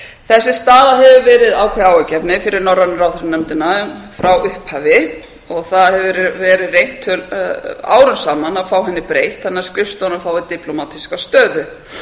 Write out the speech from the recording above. þessi staða hefur ári ákveðið áhyggjuefni fyrir norrænu ráðherranefndin frá upphafi það hefur borð reynt árum saman að fá henni breytt þannig að skrifstofurnar fái diplómatíska stöðu